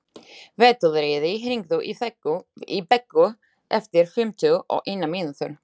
Veturliði, hringdu í Beggu eftir fimmtíu og eina mínútur.